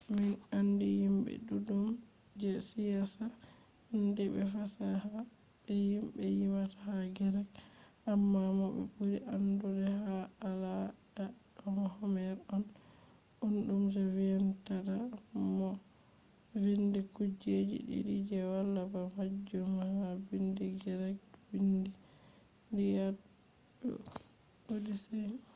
min andi himbe duddum je siyasa andiibe fasaha be himbe yimata ha greek. amma mo be buri andugo ha alada do homer on bumdo je vindata mo vindi kujeji didi je wala ba majum ha biindi greek: biindi lliad be odyssey